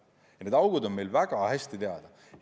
Ja need augud on meile väga hästi teada.